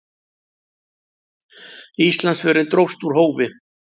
Íslandsförin dróst úr hófi.